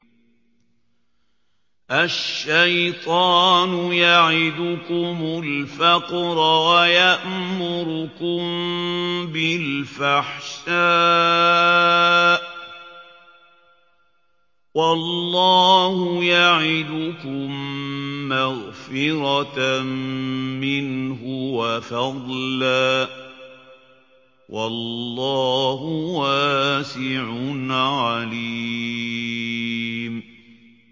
الشَّيْطَانُ يَعِدُكُمُ الْفَقْرَ وَيَأْمُرُكُم بِالْفَحْشَاءِ ۖ وَاللَّهُ يَعِدُكُم مَّغْفِرَةً مِّنْهُ وَفَضْلًا ۗ وَاللَّهُ وَاسِعٌ عَلِيمٌ